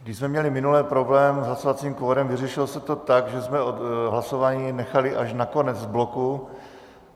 Když jsme měli minule problém s hlasovacím kvorem, vyřešilo se to tak, že jsme hlasování nechali až na konec bloku.